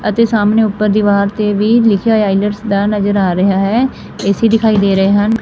ਅਤੇ ਸਾਹਮਣੇ ਉੱਪਰ ਦਿਵਾਰ ਤੇ ਵੀ ਲਿਖਿਆ ਹੋਇਆ ਨਜ਼ਰ ਆ ਰਿਹਾ ਹੈ ਏ_ਸੀ ਦਿਖਾਈ ਦੇ ਰਹੇ ਹਨ।